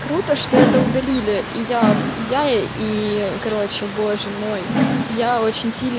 круто что это удалили и я я и короче боже мой я очень сильно